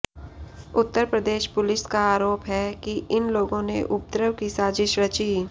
उत्तर Pradesh police का आरोप है कि इन लोगों ने उपद्रव की साज़िश रची